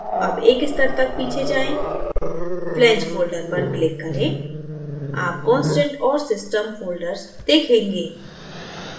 अब एक स्तर तक पीछे जाएँ flange folder पर click करें आप constant और system folder देखेंगे